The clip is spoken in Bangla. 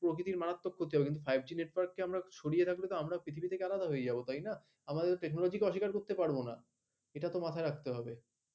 প্রকৃতির মারাত্মক ক্ষতি হবে five g network এর বাহিরে রাখলে আমরা তো technology কে অস্বীকার করতে পারবো না এটা তো মাথায় রাখতে হবে